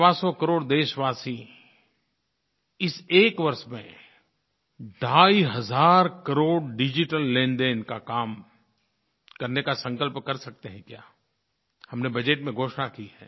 सवासौ करोड़ देशवासी इस एक वर्ष में ढाई हज़ार करोड़ डिजिटल लेनदेन का काम करने का संकल्प कर सकते हैं क्या हमने बजट में घोषणा की है